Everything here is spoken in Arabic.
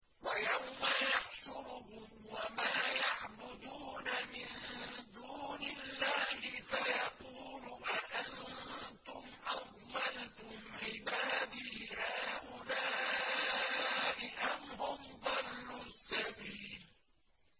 وَيَوْمَ يَحْشُرُهُمْ وَمَا يَعْبُدُونَ مِن دُونِ اللَّهِ فَيَقُولُ أَأَنتُمْ أَضْلَلْتُمْ عِبَادِي هَٰؤُلَاءِ أَمْ هُمْ ضَلُّوا السَّبِيلَ